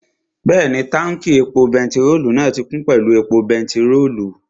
Bẹ́ẹ̀ni, táùnkì epo pẹtirólù náà ti kún pẹ̀lú epo pẹtirólù